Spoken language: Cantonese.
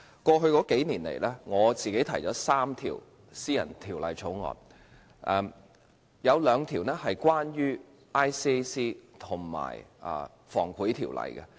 過去數年，我曾提出3項私人條例草案，有兩項關於廉政公署及《防止賄賂條例》。